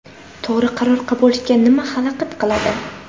To‘g‘ri qaror qabul qilishga nima xalaqit qiladi?